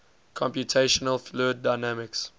computational fluid dynamics